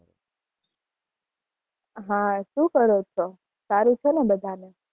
હા શું કરો છો સારું છે ને બધા ને